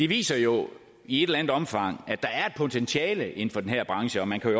viser jo i et eller andet omfang at der er et potentiale inden for den her branche og man kan